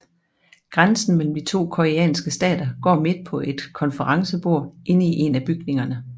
Grænsen mellem de to koreanske stater går midt på et konferencebord inde i en af bygningerne